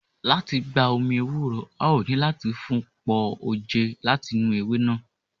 Lati gba omi ewúro, a o nilo lati fun pọ oje lati inu ewe naa.